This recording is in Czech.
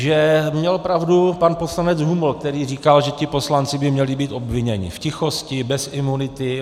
Že měl pravdu pan poslanec Huml, který říkal, že ti poslanci by měli být obviněni v tichosti, bez imunity.